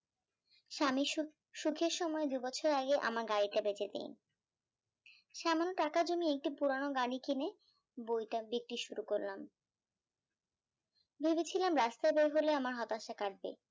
স্বামীর অসুখের সময় দুই বছর আগে আমার গাড়িটা বেচেদি সামান্য টাকা জমিয়ে একটি পুরানো গাড়ি কিনে বইটা বিক্রি শুরু করলাম ভেবেছিলাম রাস্তায় বের হলে আমার হত্যাশা কাটবে